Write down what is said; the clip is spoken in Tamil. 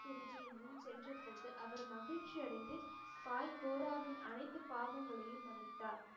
போது அவர் மகிழ்ச்சி அடைந்து பாய் கோராவின் அனைத்து பாவங்களையும் மன்னித்தார்.